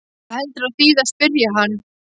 Hvað heldurðu að þýði að spyrja hann.